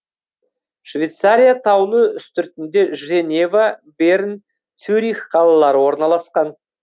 швейцария таулы үстіртінде женева берн цюрих қалалары орналасқан